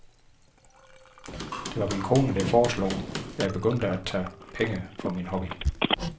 Det var min kone, der foreslog, jeg begyndte at tage penge for min hobby.